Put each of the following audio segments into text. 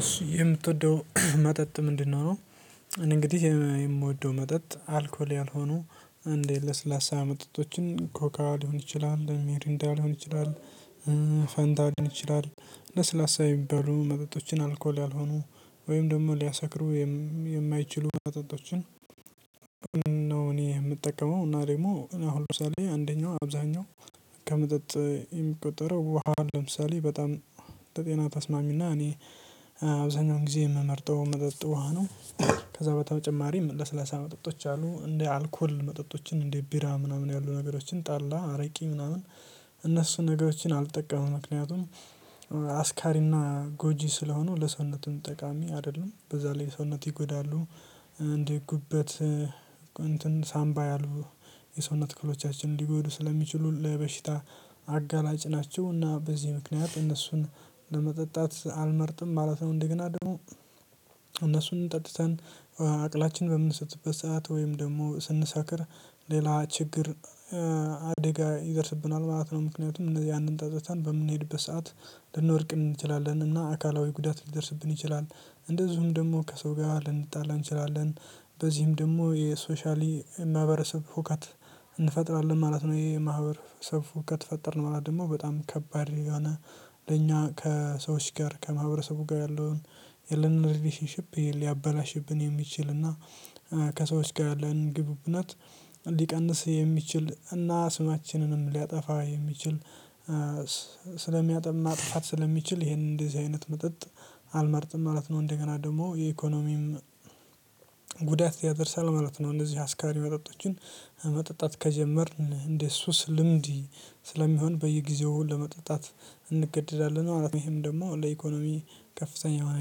እሱ የምትወደው መጠጥ ምንድነው? ነው እንግዲህ የምወደው መጠጥ አልኮል ያልሆኑ እንዴ ለስላሳ መጠጦችን ኮካ ሊሆን ይችላል ሚሪንዳ ሊሆን ይችላል ፋንታ ሊሆን ይችላል ለስላሳ የሚባሉ መጠጦችን አልኮል ያልሆኑ ወይም ደግሞ ሊያሰክሩ የማይችሉ መጠጦችን ነው እኔ የምጠቀመው እና ደግሞ እኔ አሁን ደርሳለሁ አንደኛው አብዛኛው ከመጠጥ የሚቆጠረው ውሃ ለምሳሌ በጣም ለጤና ተስማሚና እኔ አብዛኛውን ጊዜ የምመርጠው መጠጥ ውሃ ነው። ከዛ በተጨማሪም ለስለሳ መጠጦች አሉ እንደ አልኮል መጠጦችን እንደ ቢራ ምናምን ያሉ ነገሮችን ጠላ አረቂ ምናምን እነሱ ነገሮችን አልጠቀሙም ምክንያቱም አስካሪና ጎጂ ስለሆኑ ለሰውነትም ጠቃሚ አይደለም በዛ ላይ ሰውነት ይጎዳሉ። እንዲህ ጉበት እንትን ሳምባ ያልቡ የሰውነት ክህሎቻችን እንዲጎዱ ስለሚችሉ ለበሽታ አጋላጭ ናቸው። እና በዚህ ምክንያት እነሱን ለመጠጣት አልመርጥም ማለት ነው። እንደገና ደግሞ እነሱን ጠጥተን አቅላችን በምን ስትልበት ሰዓት ወይም ደግሞ ስንሰክር ሌላ ችግር አደጋ ይደርስብናል ማለት ነው። ምክንያቱም እነዚህ ያንን ጠጥተን በምንሄድበት ሰዓት ልንወድቅ እንችላለን እና አካላዊ ጉዳት ሊደርስብን ይችላል። እንደዚሁም ደግሞ ከሰው ጋር ልንጣላ እንችላለን። በዚህም ደግሞ የሶሻሊ ማህበረሰብ ሁከት እንፈጥራለን ማለት ነው። ይሄ ማህበረሰብ እውቀት ፈጠርን ማለት ደግሞ በጣም ከባድ የሆነ ለኛ ከሰዎች ጋር ከማህበረሰቡ ጋር ያለውን የለንም ሪሌሽንሺፕ ሊያበላሽብን የሚችል እና ከሰዎች ጋር ያለን ግብብነት ሊቀንስ የሚችል እና ስማችንንም ሊያጠፋ የሚችል ስለሚያጥብና ጥፋት ስለሚችል ይሄንን እንደዚህ አይነት መጠጥ አልመርጥም ማለት ነው። እንደገና ደግሞ የኢኮኖሚም ጉዳት ያደርሳል ማለት ነው። እነዚህ አስካሪ መጠጦችን መጠጣት ከጀመርን እንደ ሱስ ልምዲ ስለሚሆን በየጊዜው ለመጠጣት እንገደዳለን ማለት ነው። ይሄም ደግሞ ለኢኮኖሚ ከፍተኛ የሆነ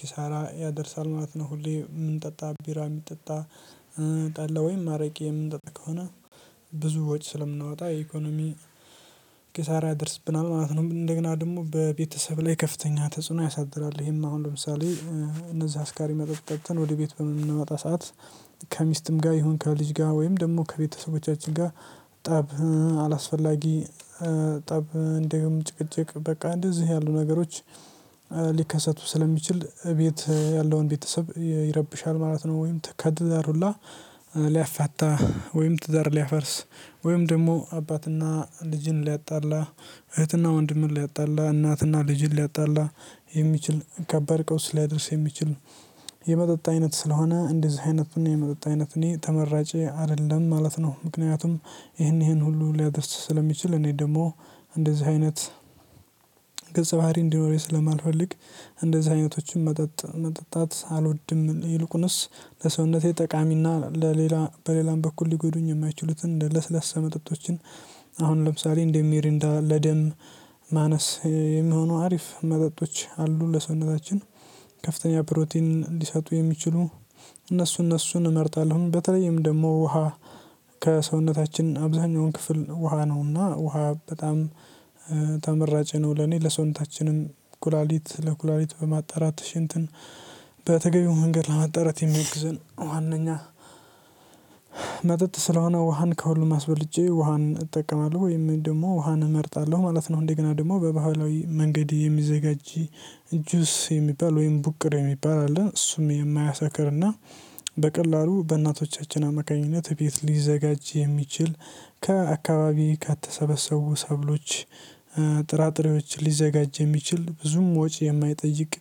ኪሳራ ያደርሳል ምናምን ነው። ሁሌ ምን ጠጣ ቢራ የሚጠጣ ጠላ ወይም አረቄ የምንጠጣ ከሆነ ብዙዎች ስለምንወጣ የኢኮኖሚ ኪሳራ ያደርስብናል ማለት ነው። እንደገና ደግሞ በቤተሰብ ላይ ከፍተኛ ተጽዕኖ ያሳድራል። ይሄማ አሁን ለምሳሌ እነዛ አስካሪ መጠጣትን ወደ ቤት በምንመጣ ሰዓት ከሚስትም ጋር ይሁን ከልጅ ጋር ወይም ደግሞ ከቤተሰቦቻችን ጋር ጠብ አላስፈላጊ ጠብ እንደውም ጭቅጭቅ በቃ እንደዚህ ያሉ ነገሮች ሊከሰቱ ስለሚችል ቤት ያለውን ቤተሰብ ይረብሻል ማለት ነው። ወይም ከትዳር ሁላ ሊያፈታ ወይም ትዳር ሊያፈርስ ወይም ደግሞ አባትና ልጅን ሊያጣላ እህትና ወንድምን ሊያጣላ እናትና ልጅን ሊያጣላ የሚችል ከባድ ቀውስ ሊያደርስ የሚችል የመጠጥ አይነት ስለሆነ እንደዚህ አይነት እኔ የመጠጥ አይነት እኔ ተመራጬ አይደለም ማለት ነው። ምክንያቱም ይሄን ይሄን ሁሉ ሊያደስት ስለሚችል እኔ ደግሞ እንደዚህ አይነት ገጸ ባህሪ እንዲኖረኝ ስለማልፈልግ እንደዚህ አይነቶችን መጠጥ መጠጣት አልወድም። ይልቁንስ ለሰውነቴ ጠቃሚና ለሌላ በሌላም በኩል ሊጎዱኝ የማይችሉትን ለስለሳ መጠጦችን አሁን ለምሳሌ እንደሚሪንዳ ለደም ማነስ የሚሆኑ አሪፍ መጠጦች አሉ ለሰውነታችን ከፍተኛ ፕሮቲን ሊሰጡ የሚችሉ እነሱን እነሱን እመርጣለሁ በተለይም ደግሞ ውሃ ከሰውነታችን አብዛኛውን ክፍል ውሃ ነውና ውሃ በጣም ተመራጭ ነው። ለኔ ለሰውነታችንም ኩላሊት ለኩላሊት በማጣራት ሽንትን በተገቢው መንገድ ለመጣራት የሚወግዘን ዋናኛ መጠጥ ስለሆነ ውሃን ከሁሉም አስበልጬ ውሃን እጠቀማለሁ ወይም ደግሞ ውሃን እመርጣለሁ ማለት ነው። እንደገና ደግሞ በባህላዊ መንገድ የሚዘጋጅ እጁስ የሚባል ወይም ቡቅር የሚባል አለ እሱም የማያሳክርና በቀላሉ በእናቶቻችን አመቃኝነት ቤት ሊዘጋጅ የሚችል ከአካባቢ ከተሰበሰቡ ሰብሎች ጥራጥሬዎች ሊዘጋጅ የሚችል ብዙም ወጭ የማይጠይቅ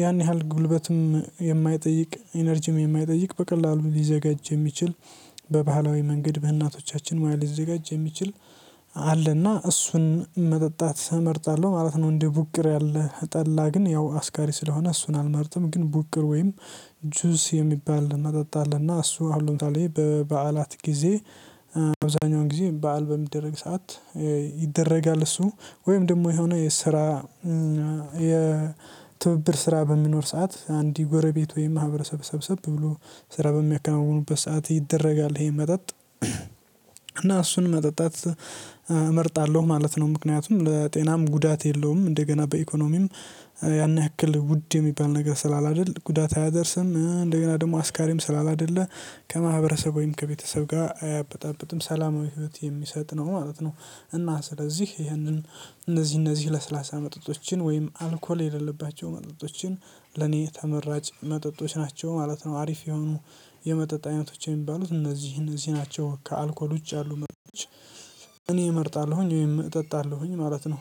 ያን ያህል ጉልበትም የማይጠይቅ ኢነርጂም የማይጠይቅ በቀላሉ ሊዘጋጅ የሚችል በባህላዊ መንገድ በእናቶቻችን ሙያ ሊዘጋጅ የሚችል አለና እሱን መጠጣት እመርጣለሁ ማለት ነው። እንደ ቡቅር ያለ ጠላ ግን ያው አስካሪ ስለሆነ እሱን አልመርጥም ግን ቡቅር ወይም ጁስ የሚባል መጠጣልና እሱ አሉንታል ይሄ በበዓላት ጊዜ በበዛኛው ጊዜ በዓል በሚደረግ ሰዓት ይደረጋል እሱ ወይም ደግሞ የሆነ የስራ የትብብር ስራ በሚኖር ሰዓት አንድ ጎረቤት ወይም ማህበረሰብ ሰብሰብ ብሎ ስራ በሚያከናውኑበት ሰዓት ይደረጋል ይሄ መጠጥ እና እሱን መጠጣት እመርጣለሁ ማለት ነው። ምክንያቱም ለጤናም ጉዳት የለውም እንደገና በኢኮኖሚም ያን ያክል ውድ የሚባል ነገር ስላል አይደል ጉዳት አያደርስም እንደገና ደግሞ አስካሪም ስላላደለ ከማህበረሰብ ወይም ከቤተሰብ ጋር አያበጣብጥም ሰላማዊ ህይወት የሚሰጥ ነው ማለት ነው። እና ስለዚህ ይሄንን እነዚህ እነዚህ ለስላሳ መጠጦችን ወይም አልኮል የሌለባቸው መጠጦችን ለኔ ተመራጭ መጠጦች ናቸው ማለት ነው። አሪፍ የሆኑ የመጠጣው አይነቶች የሚባሉት እነዚህን እዚህ ናቸው ከአልኮል ውጭ ያሉ መጠጦች እኔ እመርጣለሁኝ ወይም እጠጣለሁኝ ማለት ነው።